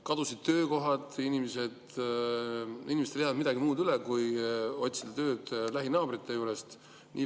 Kadusid töökohad ja inimestel ei jäänud midagi muud üle kui otsida tööd lähinaabrite juurest.